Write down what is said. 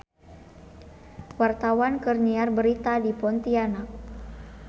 Wartawan keur nyiar berita di Pontianak